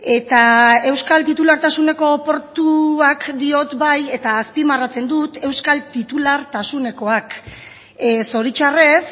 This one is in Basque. eta euskal titulartasuneko portuak diot bai eta azpimarratzen dut euskal titulartasunekoak zoritzarrez